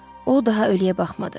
O daha ölüyə baxmadı.